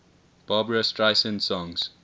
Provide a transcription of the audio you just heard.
barbra streisand songs